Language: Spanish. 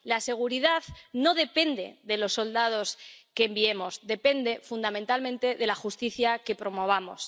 La seguridad no depende de los soldados que enviemos, depende, fundamentalmente, de la justicia que promovamos.